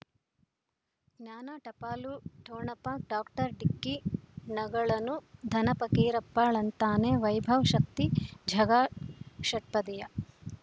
ಜ್ಞಾನ ಟಪಾಲು ಠೊಣಪ ಡಾಕ್ಟರ್ ಢಿಕ್ಕಿ ಣಗಳನು ಧನ ಫಕೀರಪ್ಪ ಳಂತಾನೆ ವೈಭವ್ ಶಕ್ತಿ ಝಗಾ ಷಟ್ಪದಿಯ